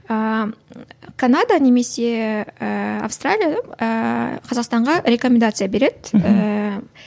ііі канада немесе ііі австралия ііі қазақстанға рекомендация береді ііі